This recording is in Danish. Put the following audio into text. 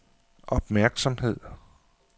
opmærksomhed